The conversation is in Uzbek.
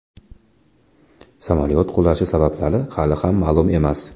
Samolyot qulashi sabablari hali ham ma’lum emas.